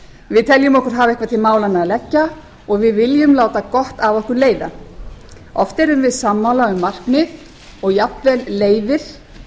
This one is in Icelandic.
við teljum okkur hafa eitthvað til málanna að leggja og við viljum láta gott af okkur leiða oft erum við sammála um markmið og jafnvel leiðir